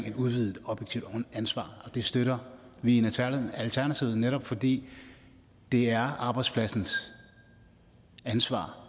et udvidet objektivt ansvar og det støtter vi i alternativet netop fordi det er arbejdspladsens ansvar